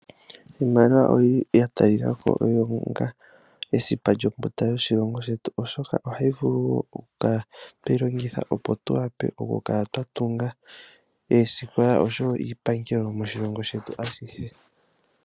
Iimaliwa oya talikako onga esipa lyothingo lyoshilongo shetu, oshoka ohayi vulu wo okukala tweyi longitha, opo tu vule okukala twa tunga oosikola, oshowo iipangelo moshilongo shetu ashihe.